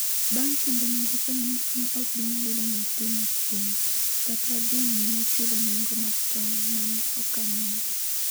bang' kinde ne gifwenyo ni ne ok ginyal yudo nyathi machielo, kata dhi nyime chulo nengo mar tong’ ma ne okan negi